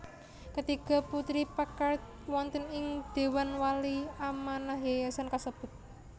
Ketiga putri Packard wonten ing dewan wali amanah yayasan kasebut